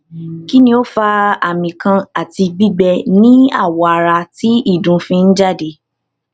kini o fa ami kan ati gbigbe ni awo ara ti idun fi n jade